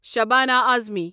Shabana Uzma